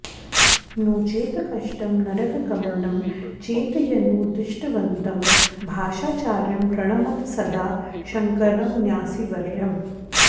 नोचेत्कष्टं नरकगमनं चेत्यनूद्दिष्टवन्तं भाष्याचार्यं प्रणमत सदा शङ्करं न्यासिवर्यम्